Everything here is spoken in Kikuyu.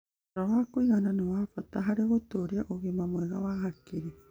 Toro wa kũigana nĩ wa bata harĩ gũtũũria ũgima mwega wa hakiri.